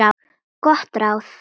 Gott ráð.